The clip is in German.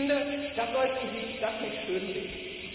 Und ich finde, da sollten Sie das nicht schönreden.